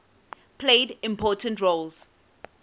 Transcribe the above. played important roles